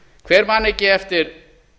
hver man ekki eftir